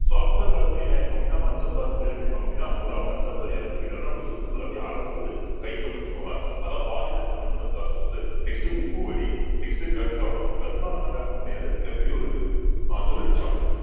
so Akbar காலத்துலயும் என்ன ஆயிருக்கும் அப்படின்னா மன்சப்தார் முறையில அமைப்பாங்க அப்படின்னா ஒரு மன்சப்தார் இறந்து போயிட்டாருன்னா அவருடைய சொத்துக்களை அப்படியே அரசு வந்து கையகப்படுத்திக்குவாங்க அதான் வாரிசற்ற மன்சப்தார் சொத்து next உப்பு வரி next தர்ஹானா தர்ஹானா வேற ஒண்ணும் கிடையாது மிகப் பெரிய ஒரு ஆஹ் தொழிற்சாலை